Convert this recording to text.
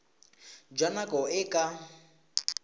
jwa nako e e ka